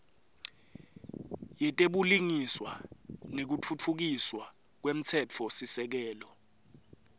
yetebulungiswa nekutfutfukiswa kwemtsetfosisekelo